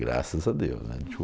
Graças a Deus, né.